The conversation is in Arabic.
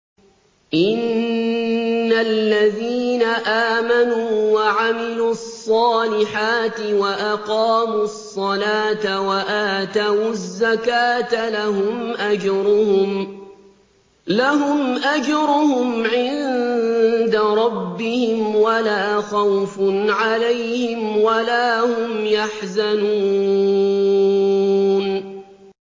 إِنَّ الَّذِينَ آمَنُوا وَعَمِلُوا الصَّالِحَاتِ وَأَقَامُوا الصَّلَاةَ وَآتَوُا الزَّكَاةَ لَهُمْ أَجْرُهُمْ عِندَ رَبِّهِمْ وَلَا خَوْفٌ عَلَيْهِمْ وَلَا هُمْ يَحْزَنُونَ